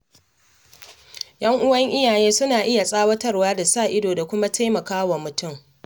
Yan'uwan iyaye suna iya tsawatarwa da sa ido da kuma taimakawa mutum.